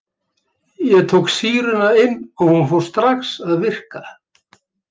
Ég tók sýruna inn og hún fór strax að virka.